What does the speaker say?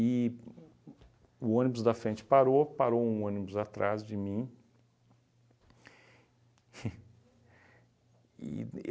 o ônibus da frente parou, parou um ônibus atrás de mim e